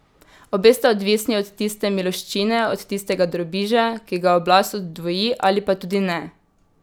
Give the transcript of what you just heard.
Obe sta odvisni od tiste miloščine, od tistega drobiža, ki ga oblast oddvoji ali pa tudi ne.